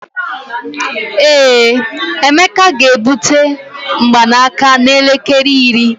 ee, emeka ga-ebute mgbanaka n'elekere iri